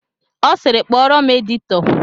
Ọ sịịrị, kpọọrọ m editọ!